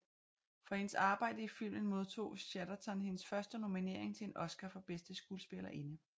For hendes arbejde i filmen modtog Chatterton hendes første nominering til en Oscar for bedste skuespillerinde